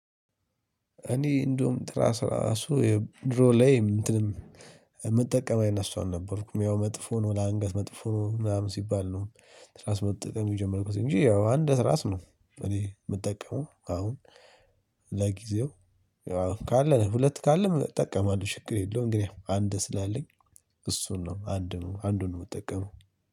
እኔ እንደውም ትራስ እራሱ ድሮ ላይ እንትንም የምጠቀም አይነት ሰው አልነበርኩም ያው መጥፎ ነው ለአንገት መጥፎ ነው ምናምን ሲባል ነው ትራስ መጠቀም የጀመርኩት። እንጂ ያው አንድ ትራስ ነው እኔ የምጠቀመው አሁን ለጊዜው ካለ ሁለት ካለም እጠቀማለሁ። ችግር የለውም ግን አንድ ስላለኝ እሱን ነው አንዱን ነው የምትጠቀመው።